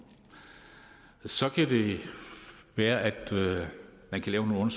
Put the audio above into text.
så kan det være at man kan lave nogle